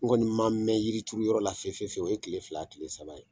N kɔni ma mɛn yiri turu yɔrɔ la fe fe fe wu, o ye kile fila kile saba ye.